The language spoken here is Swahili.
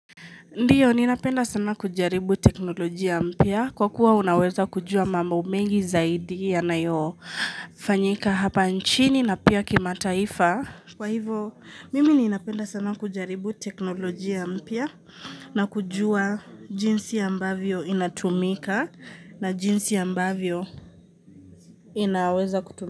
Ndiyo, ninapenda sana kujaribu teknolojia mpia kwa kuwa unaweza kujua mamba mengi zaidi ya nayo fanyika hapa nchini na pia kimataifa. Kwa hivo, mimi ninapenda sana kujaribu teknolojia mpya na kujua jinsi ambavyo inatumika na jinsi ambavyo inaweza kutumika.